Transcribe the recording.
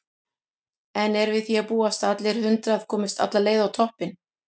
En er við því að búast að allir hundrað komist alla leið á toppinn?